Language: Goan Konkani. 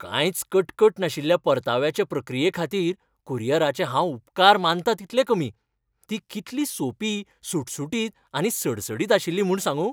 कांयच कटकट नाशिल्ल्या परताव्याचे प्रक्रियेखातीर कुरियराचे हांव उपकार मानतां तितले कमी, ती कितली सोंपी सुटसुटीत आनी सडसडीत आशिल्ली म्हूण सांगूं!